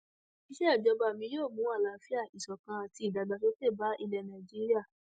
ìsejọba mi yóò mú àlàáfíà ìṣọkan àti ìdàgbàsókè bá ilẹ nàíjíríà